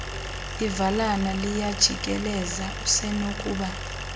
ivilana liyajikeleza usenokuba